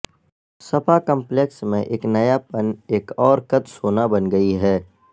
سپا complex میں ایک نیاپن ایک اورکت سونا بن گئی ہے